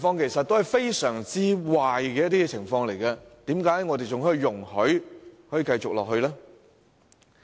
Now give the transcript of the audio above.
以上是相當壞的情況，為何我們仍容許這些情況繼續發生？